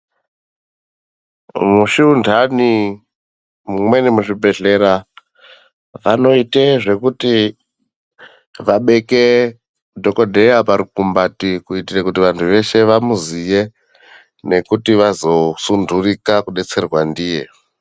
Mushundani mumweni muzvibhehlera vanoita zvekuti vabeke dhokotera parukumbati kuitire vantu vese vamuziye nekuti vazosundirika kubetserwa ndiye.